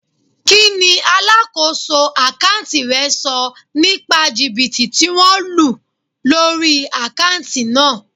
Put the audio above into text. Kí ni alákòóso àkántì rẹ sọ nípa jìbìtì tí wón lù lórí àkántì náà?